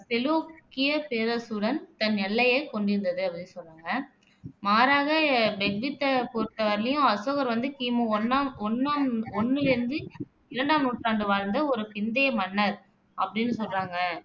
செலூக்கியப் பேரரசுடன் தன் எல்லையைக் கொண்டிருந்தது அப்படின்னு சொல்றாங்க மாறாக, பெக்வித்தைப் பொறுத்த வரையிலயும் அசோகர் வந்து கி மு ஒண்ணாம் ஒண்ணாம் ஒண்ணுல இருந்து இரண்டாம் நூற்றாண்டு வாழ்ந்த ஒரு பிந்தைய மன்னர் அப்படின்னு சொல்றாங்க